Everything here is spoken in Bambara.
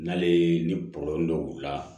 N'ale ye ni dɔ k'u la